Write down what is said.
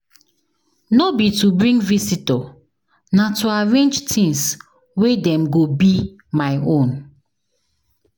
No be to bring visitor, na to arrange things wen dem go be my own.